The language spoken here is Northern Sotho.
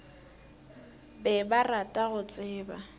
be ba rata go tseba